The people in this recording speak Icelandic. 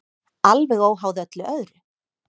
Alveg óháð öllu öðru.